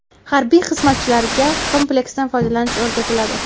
Harbiy xizmatchilarga kompleksdan foydalanish o‘rgatiladi.